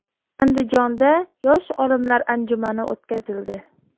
Andijonda yosh olimlar anjumani o‘tkazildi .